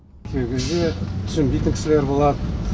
кей кезде түсінбейтін кісілер болады